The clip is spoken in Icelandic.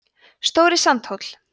stóri sandhóll